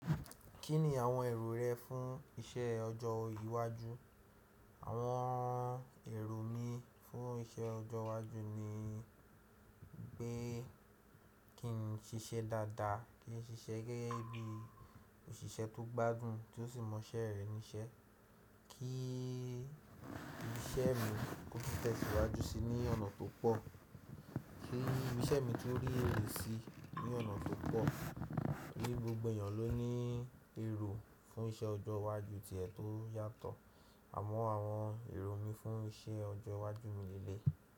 Kí ni àwọn èrò rẹ fún iṣẹ́ ọjọ́ iwájú? Àwọn èrò mi fún iṣẹ́ ọjọ́ iwájú ni pé kí n ṣiṣẹ́ dáadáa, kí n ṣiṣẹ́ gẹ́gẹ́ bí òṣìṣẹ́ tó gbádùn tí ó sì mọ iṣẹ́ rẹ̀ ní iṣẹ́, kí iṣẹ́ mi kó tẹ̀síwájú síi ní ọ̀nà tó pọ̀, kí iṣẹ́ mi tun rí èrè sí ní ọ̀nà tó pọ̀. Tori gbogbo èèyàn ló ní èrò fún iṣẹ́ ọjọ́ iwájú ti ẹ̀ tó yàtọ̀. Àmọ́ àwọn èrò mi fún iṣẹ́ ọjọ́ iwájú mi leléyii.